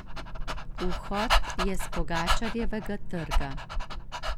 Vhod je s Pogačarjevega trga.